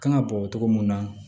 Kan ka bɔ togo mun na